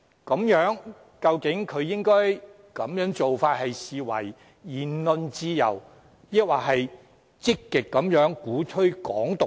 他的做法究竟應被視為言論自由，抑或是積極鼓吹"港獨"呢？